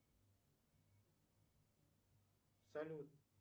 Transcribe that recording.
салют